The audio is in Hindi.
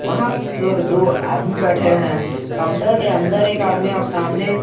दो आदमी बैठे हैं काउंटर के अंदर एक आदमी और सामने।